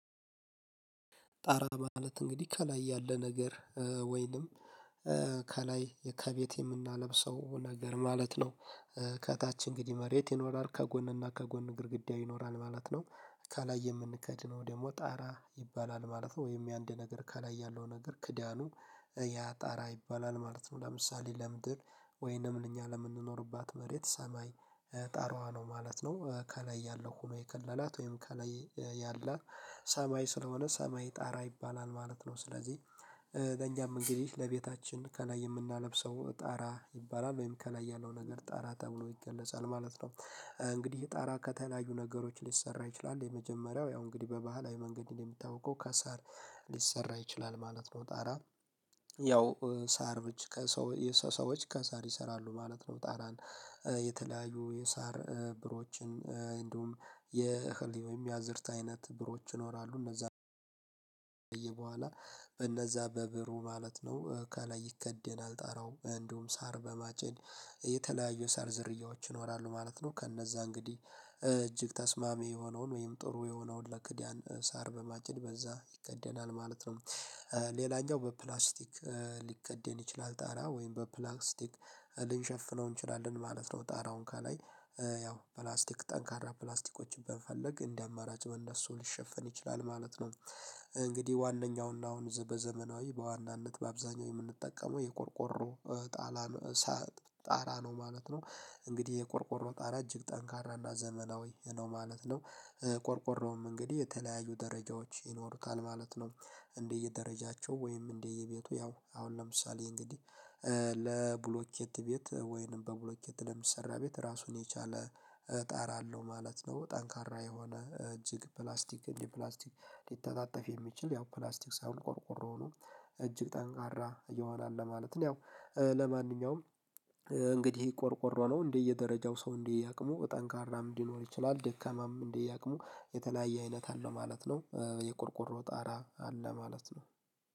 ጣራ ማለት እንግዲህ ከላይ ያለ ነገር ወይንም ከላይ የከቤቴ የምናለብሰው ነገር ማለት ነው። ከታች እንግዲህ መሬት ይኖራል ከጎንና ከጎን ግድግዳ ይኖራል ማለት ነው። ከላይ የምንከድነው ደግሞ ጣራ ይባላል ማለት ነው ወይም የአንድ ነገር ከላይ ያለው ነገር ክዳኑ ያ ጣራ ይባላል ማለት ነው። ለምሳሌ ለምድር ወይንም እኛ ለምንኖርባት መሬት ሰማይ ጣራዋ ነው ማለት ነው። ከላይ ያለው ሆኖ የከለላት ወይም ከላይ ያለ ሰማይ ስለሆነ ሰማይ ጣራ ይባላል ማለት ነው። ስለዚህ ለእኛም እንግዲህ ለቤታችን ከላይ የምናለብሰው ጣራ ይባላል ወይም ከላይ ያለው ነገር ጣራ ተብሎ ይገለጻል ማለት ነው። እንግዲህ ጣራ ከተለያዩ ነገሮች ሊሰራ ይችላል የመጀመሪያው ያው እንግዲህ በባህላዊ መንገድ እንዴት የምታውቀው ከሳር ሊሰራ ይችላል ማለት ነው። ጣራ ያው ሳር ከሰው የሰው ሰዎች ከሳር ይሰራሉ ማለት ነው። ጣራን የተለያዩ የሳር ብሮችን እንደውም የህሊው ወይም የአዝርት አይነት ብሮች ይኖራሉ እነዛ። በኋላ በነዛ በብሩ ማለት ነው ካላይ ይከደን አልጠራውም እንደውም ሳር በማጭን የተለያዩ ሳር ዘርያዎች ይኖራሉ ማለት ነው። ከእነዛ እንግዲህ እጅግ ተስማሚ የሆነውን ወይም ጥሩ የሆነውን ለክዳን ሳር በማጭድ በዛ ይከደናል ማለት ነው። ሌላኛው በፕላስቲክ ሊከደን ይችላል ጣራ ወይም በፕላክስቲክ ልንሸፍነው እንችላለን ማለት ነው። ጣራውን ከላይ ያው ፕላስቲክ ጠንካራ ፕላስቲኮችን በፈለግ እንደ አማራጭ በእነሱ ሊሸፈን ይችላል ማለት ነው። እንግዲህ ዋናውና አሁን በዘመናዊ በዋናነት በአብዛኛው የምንጠቀመው የቆርቆሮ ጣራም ጣራ ነው ማለት ነው። እንግዲህ የቆርቆሮ ጣራ እጅግ ጠንካራ እና ዘመናዊ ነው ማለት ነው። ቆርቆሮም እንግዲህ የተለያዩ ደረጃዎች ይኖሩታል ማለት ነው። እንደየደረጃቸው ወይም እንደየቤቱ ያው አሁን ለምሳሌ እንግዲህ ለብሎኬት ቤት ወይንም በብሎኬት የሚሰራ ቤት ራሱን የቻለ ጣራ አለው ማለት ነው። ጠንካራ የሆነ እጅግ ፕላስቲክ ፕላስቲክ ሊተጣጠፍ የሚችል ያው ፕላስቲክ ሳይሆን ቆርቆሮ ነው እጅግ ጠንካራ እየሆነ አለ ለማለት ነው። ያው ለማንኛውም እንግዲህ ቆርቆሮ ነው እንደየደረጃው ሰው እንደየደረጃው አቅሙ ጠንካራም ሊኖር ይችላል ደካማም እንደየደረጃው የተለያየ አይነት አለው ማለት ነው። የቆርቆሮ ጣራ አለ ማለት ነው።